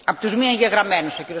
Frau Präsidentin!